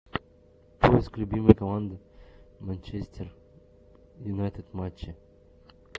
поиск любимые команды манчестер юнайтед матчи